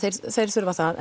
þeir þurfa það